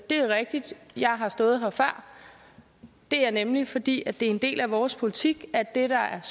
er rigtigt at jeg har stået her før det er nemlig fordi det er en del af vores politik at det der er